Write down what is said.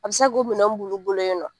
A bɛ se k'o minɛnw b'olu bolo yen nɔ